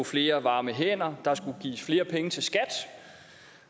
flere varme hænder at der skulle gives flere penge til skat